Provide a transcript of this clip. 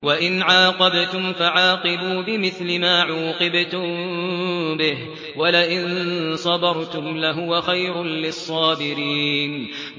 وَإِنْ عَاقَبْتُمْ فَعَاقِبُوا بِمِثْلِ مَا عُوقِبْتُم بِهِ ۖ وَلَئِن صَبَرْتُمْ لَهُوَ خَيْرٌ لِّلصَّابِرِينَ